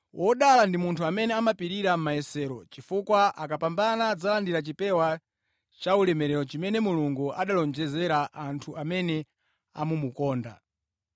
Wodala ndi munthu amene amapirira mʼmayesero, chifukwa akapambana adzalandira chipewa cha ulemerero chimene Mulungu analonjeza anthu amene amamukonda.